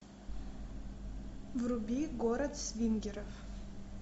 вруби город свингеров